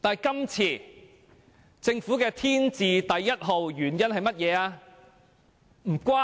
今次政府的"天字第一號"原因是甚麼呢？